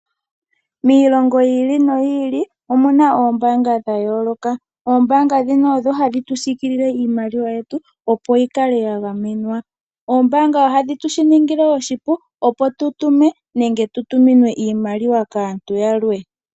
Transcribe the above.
Miilongo yi ili noyi ili omuna oombaanga dha yooloka, ombaanga ndhino odho hadhi tusiikilile iimaliwa yetu, opo yi kale ya gamenwa. Oombaanga ohadhi shituningile oshipu opo tutume, nenge tutuminwe iimaliwa kaantu yalwe.